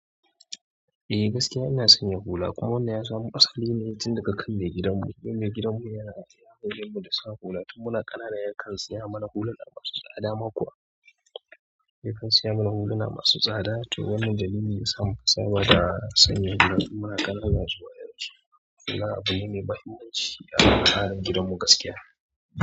Eh gaskiya ina sanya hula kuma wannan ya samo asali ne tun daga kan me gidanmu, don me gidanmu yana ya maidanmu da sa hula tin muna ƙanana yakan saya mana hulan masu tsada ma kuwa yakan saya mana huluna masu tsada to wannan dalili yasa muka saba da sanya hula tin muna ƙanana zuwa yanzu. Wannan abu ne mai muhimmanci a al'adan gidanmu gaskiya.